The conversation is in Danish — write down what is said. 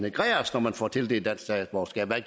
får tildelt dansk statsborgerskab hvad